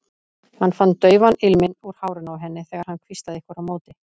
Hann fann daufan ilminn úr hárinu á henni þegar hann hvíslaði einhverju á móti.